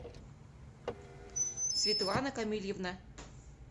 светлана камильевна